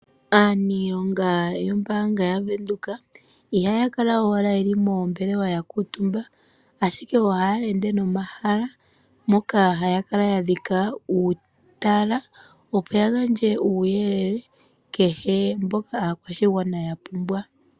Aaniilonga yombaanga ya Venduka ihaya kala owala yeli moombelewa ya kuutumba, ashike ohaya ende nomahala moka haya kala ya dhika uutala, opo ya gandje uuyelele kehe, mboka aakwashigwana ya pumbwa.